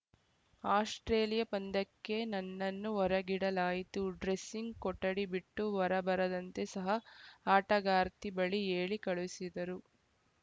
Australia ಪಂದ್ಯಕ್ಕೆ ನನ್ನನ್ನು ಹೊರಗಿಡಲಾಯಿತು ಡ್ರೆಸ್ಸಿಂಗ್‌ ಕೊಠಡಿ ಬಿಟ್ಟು ಹೊರಬರದಂತೆ ಸಹ ಆಟಗಾರ್ತಿ ಬಳಿ ಹೇಳಿ ಕಳುಸಿದರು